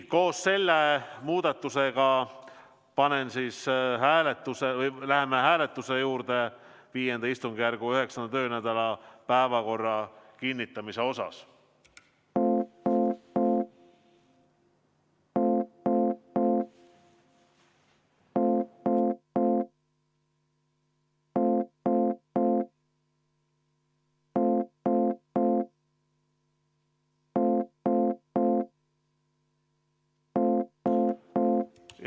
Koos selle muudatusega panen päevakorra hääletusele ja läheme V istungjärgu 9. töönädala päevakorra kinnitamise hääletuse juurde.